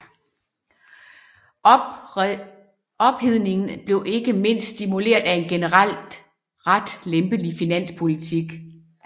Ophedningen blev ikke mindst stimuleret af en generelt ret lempelig finanspolitik